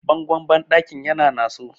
bangon bandakin yana naso